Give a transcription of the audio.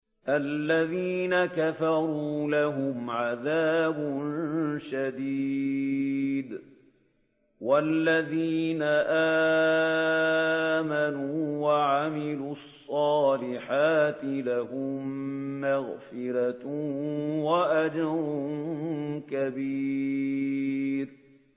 الَّذِينَ كَفَرُوا لَهُمْ عَذَابٌ شَدِيدٌ ۖ وَالَّذِينَ آمَنُوا وَعَمِلُوا الصَّالِحَاتِ لَهُم مَّغْفِرَةٌ وَأَجْرٌ كَبِيرٌ